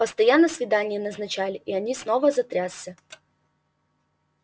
постоянно свидания назначали и они снова затрясся